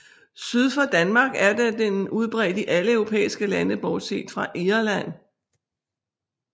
Syd for Danmark er den udbredt i alle europæiske lande bortset fra Irland